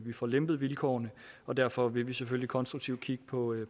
vi får lempet vilkårene og derfor vil vi selvfølgelig konstruktivt kigge på det